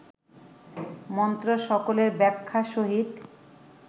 মন্ত্রসকলের ব্যাখ্যা সহিত